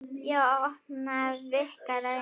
Já, að opna, víkka, reyna.